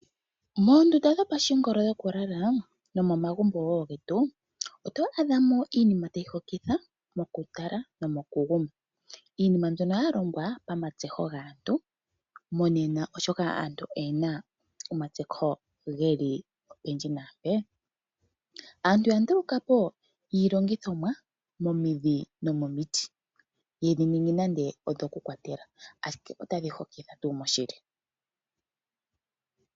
Moondunda dhopashingolo dhokulala dhomo magumbo wo getu oto adhamo iinima tayi hokitha mokutala nomokuguma. Iinima mbyono yalongwa pamatseho gaantu monena, oshoka aantu oyena omatseho geli opendji naampe. Aantu ya ndulukapo iilongithomwa momidhi nomomiti ye dhiningi dhoku kwatela ashike otadhi hokitha tuu moshili.